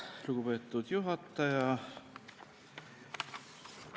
Lugupeetud juhataja!